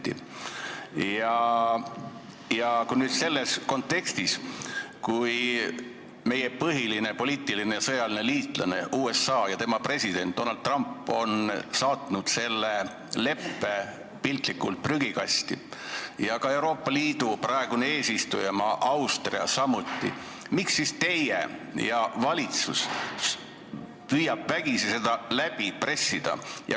Miks püüate teie ja püüab valitsus selles kontekstis, kus meie põhiline poliitiline ja sõjaline liitlane USA ja tema president Donald Trump on saatnud selle leppe piltlikult öeldes prügikasti ja Euroopa Liidu praegune eesistujamaa Austria samuti, seda vägisi läbi pressida?